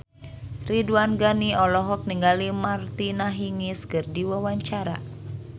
Ridwan Ghani olohok ningali Martina Hingis keur diwawancara